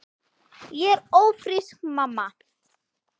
Ég er ófrísk, mamma!